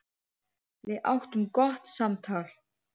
Við áttum gott samtal.